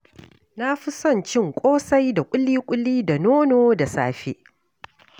Na fi son cin kosai da kuli-kuli da nono da safe.